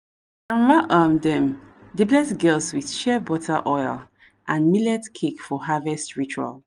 um dem dey bless girls with shea butter oil and millet cake for harvest ritual.